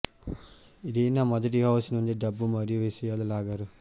Irina మొదటి house నుండి డబ్బు మరియు విషయాలు లాగారు